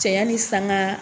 Cɛ ɲa ni sanga